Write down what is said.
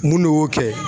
Mun de y'o kɛ